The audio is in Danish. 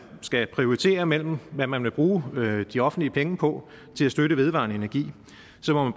skal prioritere mellem hvad man vil bruge de offentlige penge på til at støtte vedvarende energi så